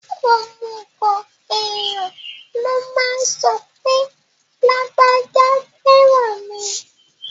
Òmùgọ̀ èèyàn ló máa ń sọ pé lágbájá fẹ́ràn mi